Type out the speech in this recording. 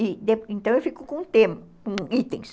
Então, eu fico com o tema, com itens.